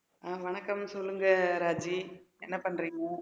அஹ் வணக்கம் சொல்லுங்க ராஜி என்ன பண்றீங்க